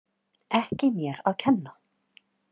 Ekki mér að kenna!